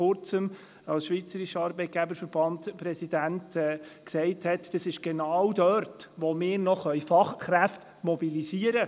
Als SAV-Präsident sagte er vor Kurzem, genau dort könnten wir die in der Wirtschaft benötigten Fachkräfte noch mobilisieren.